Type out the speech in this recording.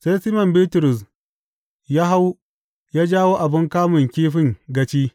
Sai Siman Bitrus ya hau ya jawo abin kamun kifin gaci.